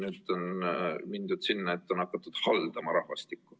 Nüüd on jõutud sinna, et on hakatud haldama rahvastikku.